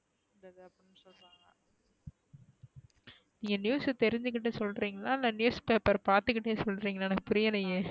நீங்க news தெரிஞ்சுகிட்டு சொல்றிங்களா இல்ல newspaper பாத்துகிட்டே சொல்றிங்களா எனக்கு புரியலையே